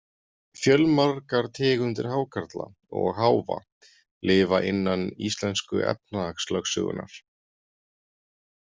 Fjölmargar tegundir hákarla og háfa lifa innan íslensku efnahagslögsögunnar.